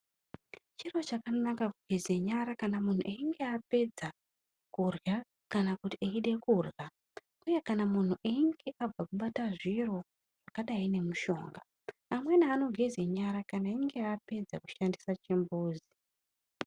Chiro chakanaka kugeze nyara kana munhu einge apedza kurya kana kuti eide kurya, uye kana munhu einge abva kubata zviro zvakadai ngemushonga. Amweni anogeze nyara kana einge apedza kushandisa chimbuzi.